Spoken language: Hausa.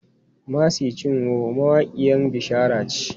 Mercy Chinwo mawaƙiyan bishara ce.